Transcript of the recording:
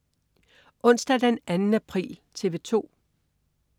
Onsdag den 2. april - TV 2: